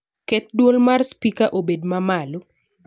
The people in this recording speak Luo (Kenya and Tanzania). Ket dwol mar spika obed ma malo